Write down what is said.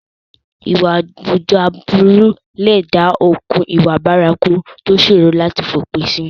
Ìwà àwùjọ aburú lè dá okùn ìwà bárakú tó ṣòro láti fi òpin sí.